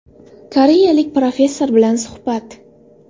Koreyalik professor bilan suhbat.